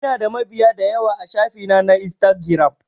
Ina da mabiya dayawa a shafi na na instagiram